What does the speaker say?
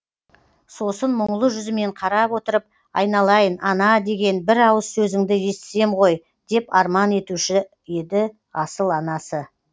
сосын мұңлы жүзімен қарап отырып айналайын ана деген бір ауыз сөзіңді естісем ғой деп арман етуші асыл анасы